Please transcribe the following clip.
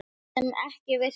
Það sem ekki virkar